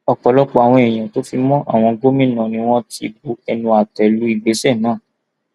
ọpọlọpọ àwọn èèyàn tó fi mọ àwọn gómìnà ni wọn ti bu ẹnu àtẹ lu ìgbésẹ náà